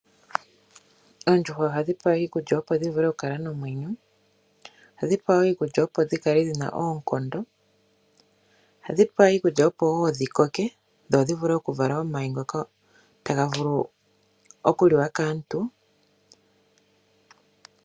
Oondjuhwa ohadhi pewa iikulya opo dhi vule okukala nomwenyo, ohadhi pewa woo iikulya opo dhikale ndhina oonkondo, ohadhi pewa iikulya opo dhi koke dho dhivule okuvala omayi ngoka ta ga vu okuliwa kaantu.